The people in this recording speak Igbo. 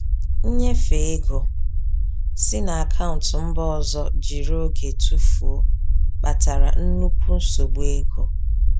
Nnyefe ego si na akaụntụ mba ọzọ jiri oge tụfuo, kpatara nnukwu nsogbu ego.